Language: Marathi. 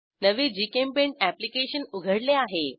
नवे जीचेम्पेंट अॅप्लिकेशन उघडले आहे